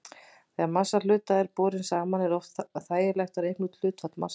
Þegar massi hluta er borinn saman er oft þægilegt að reikna út hlutfall massanna.